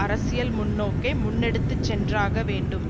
அரசியல் முன்னோக்கை முன்னெடுத்து சென்றாக வேண்டும்